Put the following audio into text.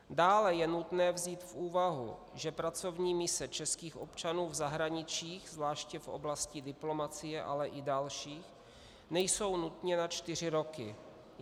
Dále je nutné vzít v úvahu, že pracovní mise českých občanů v zahraničí, zvláště v oblasti diplomacie, ale i dalších, nejsou nutně na čtyři roky.